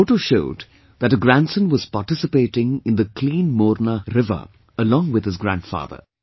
The photo showed that a grandson was participating in the Clean Morna River along with his grandfather